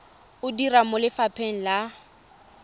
o dira mo lefapheng la